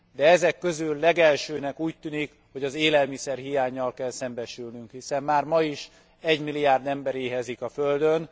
De ezek közül legelsőnek úgy tűnik hogy az élelmiszerhiánnyal kell szembesülnünk, hiszen már ma is 1 milliárd ember éhezik a földön.